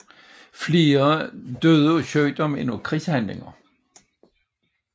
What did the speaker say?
Flere døde af sygdom end af krigshandlinger